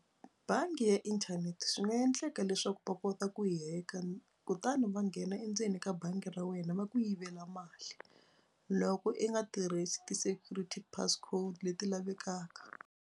Bangi ya inthanete swi nga endleka leswaku va kota ku yi hack-a kutani va nghena endzeni ka bangi ra wena va ku yivela mali loko i nga tirhisi ti-security passcode leti lavekaka.